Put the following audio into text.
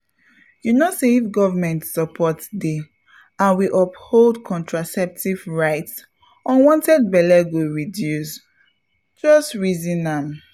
you know say if government support dey and we uphold contraceptive rights unwanted belle go reduce — just pause reason am.